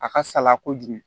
A ka sala kojugu